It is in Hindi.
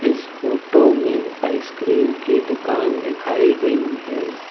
इस फोटो में आइसक्रीम की दुकान दिखाई गई है।